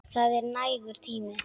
Það er nægur tími.